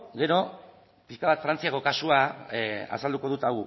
gero pixka bat frantziako kasua azalduko dut